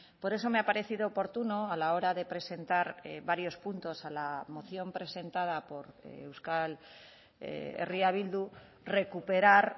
por eso me ha parecido oportuno a la hora de presentar varios puntos a la moción presentada por euskal herria bildu recuperar